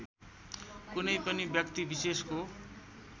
कुनै पनि व्याक्तिविशेषको